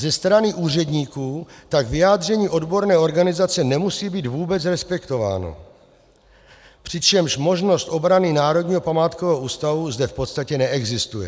Ze strany úředníků tak vyjádření odborné organizace nemusí být vůbec respektováno, přičemž možnost obrany Národního památkového ústavu zde v podstatě neexistuje.